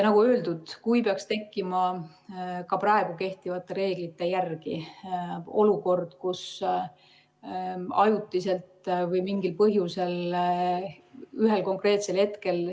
Nagu öeldud, kui ka praegu kehtivate reeglite järgi peaks tekkima olukord, kus ajutiselt või mingil põhjusel ühel konkreetsel hetkel ...